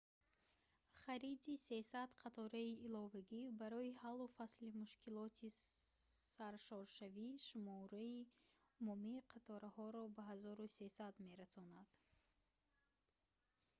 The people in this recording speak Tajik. хариди 300 қатораи иловагӣ барои ҳаллу фасли мушкилоти саршоршавӣ шумораи умумии қатораҳоро ба 1300 мерасонад